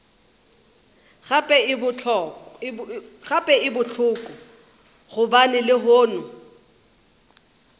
gape e bohloko gobane lehono